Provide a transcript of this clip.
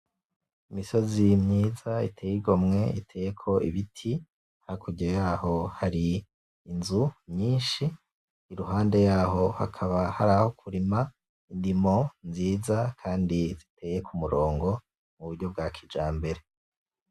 Imisozi myiza iteye igomwe iteyeko ibiti hakurya yayo hari inzu nyinshi iruhande yaho hakaba hari aho kurima indimo nziza kandi ziteye kumurongo muburyo bwa kijambere .